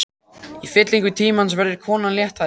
Í fyllingu tímans verður konan léttari.